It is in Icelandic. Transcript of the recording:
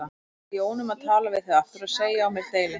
Ég bað Jónu um að tala við þig aftur og segja á mér deili.